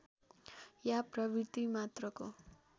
या प्रवृत्ति मात्रको